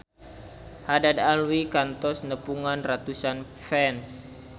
Haddad Alwi kantos nepungan ratusan fans